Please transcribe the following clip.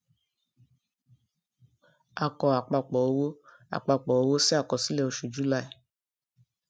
a kọ àpapò owó àpapò owó sí àkọsílẹ oṣù july